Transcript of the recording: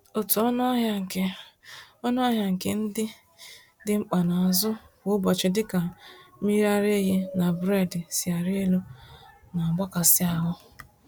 Otú ọnụahịa nke ọnụahịa nke ihe ndị dị mkpa a na-azụ kwa ụbọchị dịka mmiriaraehi na buredi si arị elu, nagbakasị ahụ